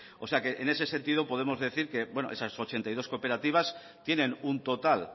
en ese sentido podemos decir bueno que esas ochenta y dos cooperativas tienen un total